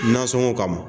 Nasɔngɔ kama